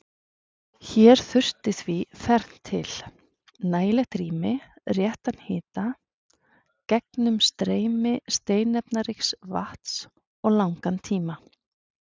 Hér þurfti því fernt til: nægilegt rými, réttan hita, gegnumstreymi steinefnaríks vatns, og langan tíma.